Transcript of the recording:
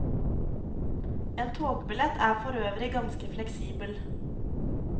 En togbillett er forøvrig ganske fleksibel.